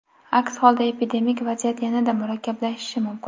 Aks holda epidemik vaziyat yanada murakkablashishi mumkin.